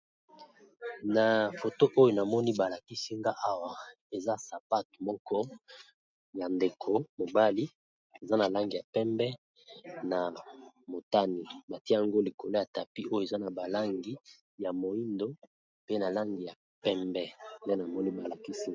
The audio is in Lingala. Na foto oyo namoni balakisi nga awa eza sapato moko ya ndeko mobali ya langi ya pembe na motane batye yango likolo ya tapis ya langi ya moyindo pe na langi ya pembe ndé yango namoni balakisi nga awa.